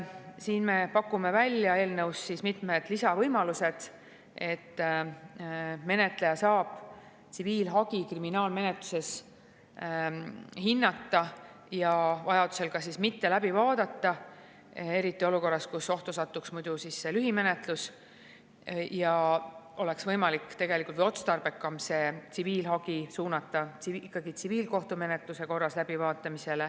Seega me pakume eelnõus välja mitmed lisavõimalused, et menetleja saab kriminaalmenetluses tsiviilhagi hinnata ja vajadusel ka mitte läbi vaadata, seda just olukorras, kus muidu satuks ohtu lühimenetlus ja järelikult oleks otstarbekam tsiviilhagi suunata ikkagi tsiviilkohtumenetluse korras läbivaatamisele.